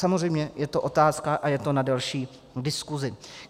Samozřejmě je to otázka a je to na delší diskusi.